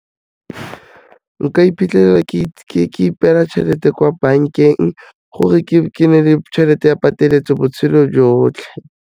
Nka iphitlhelela ke ipeela tšhelete kwa bankeng gore ke nne le tšhelete ya pateletso botshelo jotlhe.